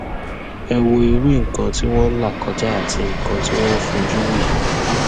ẹ wo irú nǹkan tí wọn ń là kọjá àti nǹkan tí wọn ń fojú wí